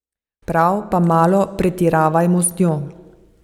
Prav, pa malo pretiravajmo z njo.